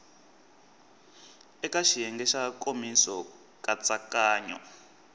eka xiyenge xa nkomiso nkatsakanyo